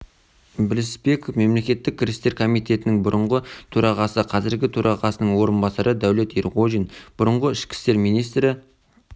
білісбеков мемлекеттік кірістер комитетінің бұрынғы төрағасы қазіргі төрағасының орынбасары дәулет ерғожин бұрынғы ішкі істер министрі